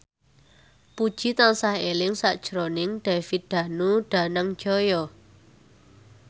Puji tansah eling sakjroning David Danu Danangjaya